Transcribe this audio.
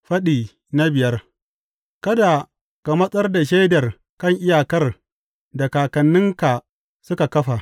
Faɗi biyar Kada ka matsar da shaidar kan iyakar da kakanninka suka kafa.